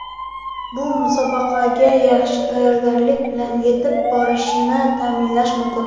Bu musobaqaga yaxshi tayyorgarlik bilan yetib borishni ta’minlashi mumkin.